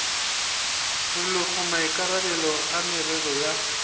rwelego maikarabelo a merero ya